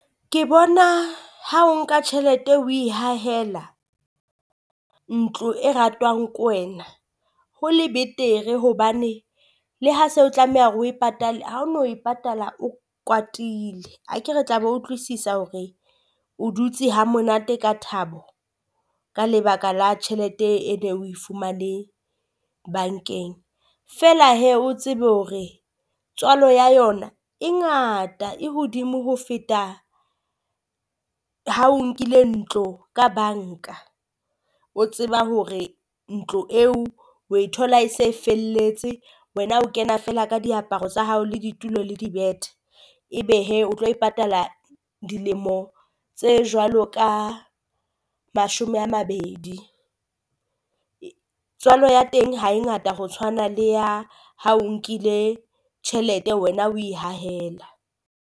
Ke bona ha o nka tjhelete oe hahela ntlo e ratwang ko wena ho le betere hobane le ha se o tlameha hore o e patale ha o no e patala o kwatile. Akere tla be utlwisisa hore o dutse hamonate ka thabo ka lebaka la tjhelete e ne o e fumane bankeng, feela hee o tsebe hore tswalo ya yona e ngata e hodimo ho feta ha o nkile ntlo ka banka. O tseba hore ntlo eo o e thola e se e felletse wena o kena feela ka diaparo tsa hao le ditulo le di bethe, ebe hee o tlo e patala dilemo tse jwalo ka mashome a mabedi. Tswalo ya teng ha e ngata ho tshwana le ya ha o o nkile tjhelete, wena oe hahela.